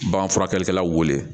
Bagan furakɛlikɛlaw wele